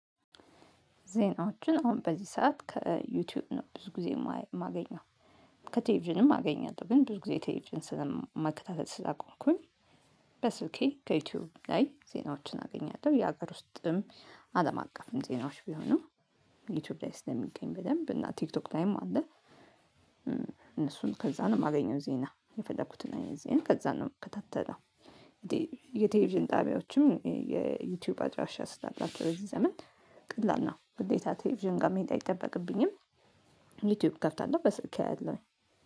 ዜናዎችን አሁን በዚህ ሰዓት ከዩቲዩብ ነው ብዙ ጊዜ የማገኘው። ከቴሌቪዥንም አገኛለሁ ግን ብዙ ጊዜ ቴሌቪዥንን ማከታተል ስላቆምኩኝ። በስልኬ ከዩቲዩብ ላይ ዜናዎችን አገኛለሁ የሀገር ውስጥም አለም አቀፍም ዜናዎች ቢሆኑ ዩቲዩብ ላይ ስለሚገኝ በደንብ እና ቲክቶክ ላይም አለ። እነሱን ከዛ ነው የማገኘው ዜና የፈለኩት ጊዜ ከዛ ነው የምከታተለው። በስልኬ ከዩቲዩብ ላይ ዜናዎችን አገኛለሁ። የሀገር ውስጥም አለም አቀፍም ዜናዎች ቢሆኑ ዩቲዩብ ላይ ስለሚገኝ በደንብ እና ቲክቶክ ላይም አለ።